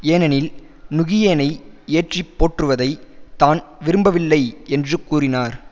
ஏனெனில் நுகியேனை ஏற்றிப் போற்றுவதை தான் விரும்பவில்லை என்று கூறினார்